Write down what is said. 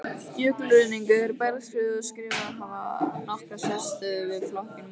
Jökulruðningur, bergskriður og skriður hafa nokkra sérstöðu við flokkun molabergs.